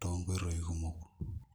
tonkoitoi kumok.